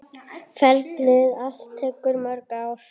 Ferlið allt tekur mörg ár.